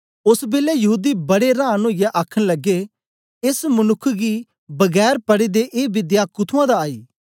ओस बेलै यहूदी बड़े रांन ओईयै आखन लगे एस मनुक्ख गी बगैर पढ़े दे ए विद्दया कुथुंआं दा आई